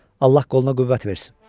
Allah qoluna qüvvət versin.